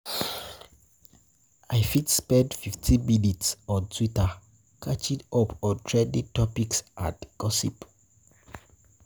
I fit spend 15 minutes on Twitter catching up on trending topics and gossip.